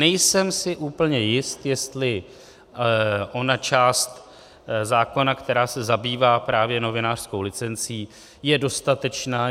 Nejsem si úplně jist, jestli ona část zákona, která se zabývá právě novinářskou licencí, je dostatečná.